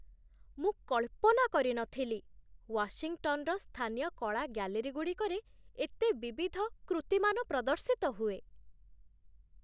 ମୁଁ କଳ୍ପନା କରିନଥିଲି, ୱାଶିଂଟନର ସ୍ଥାନୀୟ କଳା ଗ୍ୟାଲେରୀଗୁଡ଼ିକରେ ଏତେ ବିବିଧ କୃତିମାନ ପ୍ରଦର୍ଶିତ ହୁଏ!